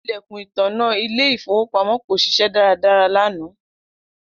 Ilẹkun itanna ile-ifowopamọ ko ṣiṣẹ daradara lana.